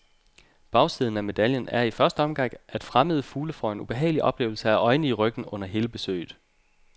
Bagsiden af medaljen er i første omgang, at fremmede fugle får en ubehagelig oplevelse af øjne i ryggen under hele besøget.